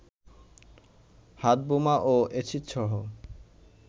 হাতবোমা ও এসিডসহ